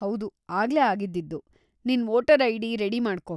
ಹೌದು, ಆಗ್ಲೇ ಆಗಿದ್ದಿದ್ದು. ನಿನ್‌ ವೋಟರ್‌ ಐಡಿ ರೆಡಿ ಮಾಡ್ಕೋ.